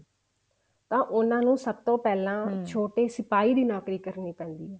ਤਾਂ ਉਹਨਾ ਨੂੰ ਸਭ ਤੋਂ ਛੋਟੇ ਸਿਪਾਹੀ ਦੀ ਨੋਕਰੀ ਕਰਨੀ ਪੈਂਦੀ ਹੈ